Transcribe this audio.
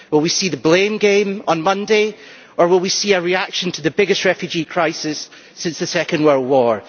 Will we see the blame game on Monday? Or will we see a reaction to the biggest refugee crisis since the Second World War?